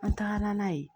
An tagara n'a ye